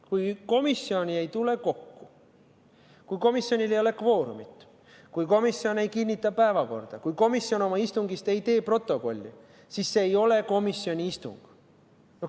Kui komisjon ei tule kokku, kui komisjonil ei ole kvoorumit, kui komisjon ei kinnita päevakorda, kui komisjon ei tee oma istungi kohta protokolli, siis see ei ole komisjoni istung.